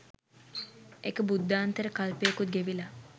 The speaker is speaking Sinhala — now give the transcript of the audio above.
එක බුද්ධාන්තර කල්පයකුත් ගෙවිලා